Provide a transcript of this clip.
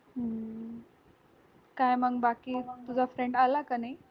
काय मंग बाकी तुजा friend आला काय नाई